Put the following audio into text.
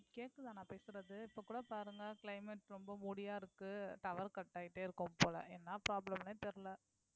கேக்குதா நான் பேசறது இப்ப கூட பாருங்க climate ரொம்ப moody யா இருக்கு tower cut ஆயிட்டே இருக்கும் போல என்னா problem ன்னே தெரியல